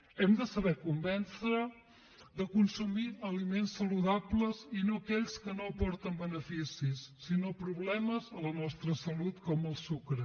hem de saber convèncer de consumir aliments saludables i no aquells que no aporten beneficis sinó problemes a la nostra salut com el sucre